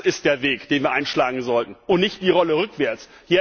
Das ist der Weg, den wir einschlagen sollten, und nicht die Rolle rückwärts.